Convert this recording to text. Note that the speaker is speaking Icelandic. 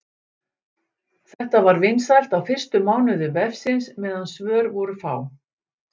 Þetta var vinsælt á fyrstu mánuðum vefsins meðan svör voru fá.